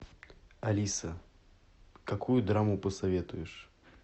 алиса какую драму посоветуешь